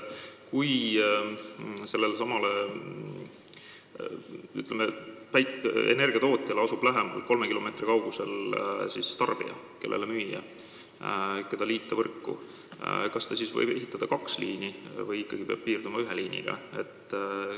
Kui mingile energiatootjale asub lähemal, näiteks kolme kilomeetri kaugusel tarbija, kelle võiks võrku liita, et talle elektrit müüa, kas siis võib ehitada kaks liini või ikkagi peab piirduma ühe liiniga?